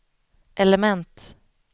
element